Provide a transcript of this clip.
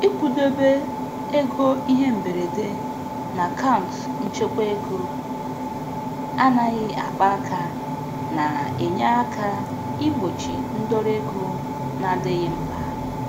Ịkwụdobe ego ihe mberede n'akaụnt nchekwaego anaghị akpa aka na-enye aka igbochi ndọrọ ego na-adịghị mkpa.